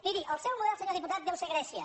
miri el seu model senyor diputat deu ser grècia